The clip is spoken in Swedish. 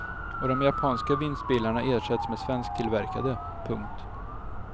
Och de japanska vinstbilarna ersätts med svensktillverkade. punkt